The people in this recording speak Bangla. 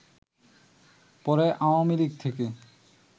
পরে আওয়ামী লীগ থেকে